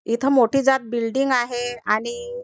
इथ मोठी जात बिल्डिंग आहे आणि --